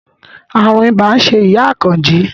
Ààrùn ibà ń ṣe ìyá Àkànjí